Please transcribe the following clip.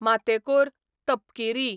मातेकोर, तपकिरी